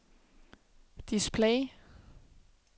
display